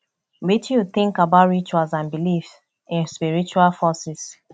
wetin you think about rituals and beliefs in spiritual forces